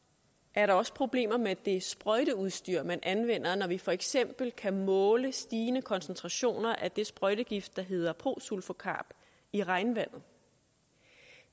er der også problemer med det sprøjteudstyr man anvender når vi for eksempel kan måle stigende koncentrationer af den sprøjtegift der hedder prosulfocarb i regnvandet